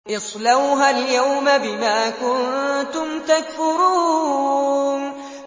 اصْلَوْهَا الْيَوْمَ بِمَا كُنتُمْ تَكْفُرُونَ